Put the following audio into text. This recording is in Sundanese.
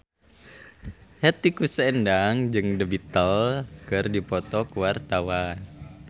Hetty Koes Endang jeung The Beatles keur dipoto ku wartawan